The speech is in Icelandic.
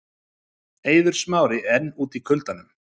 Eiður Smári enn úti í kuldanum